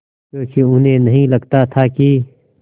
क्योंकि उन्हें नहीं लगता था कि